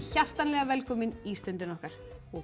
hjartanlega velkomin í Stundina okkar og